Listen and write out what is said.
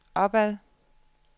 opad